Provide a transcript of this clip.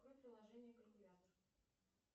открой приложение калькулятор